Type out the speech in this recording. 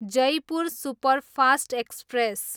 Jaipur superfast express